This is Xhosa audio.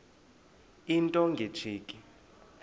into nge tsheki